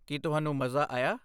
ਕੀ ਤੁਹਾਨੂੰ ਮਜ਼ਾ ਆਇਆ?